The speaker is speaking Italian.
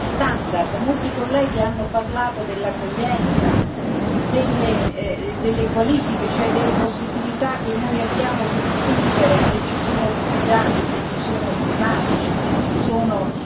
Molti colleghi hanno parlato dell'accoglienza, delle qualifiche, cioè delle possibilità che noi abbiamo di distinguere se ci sono rifugiati, se ci sono climatici, se ci sono economici.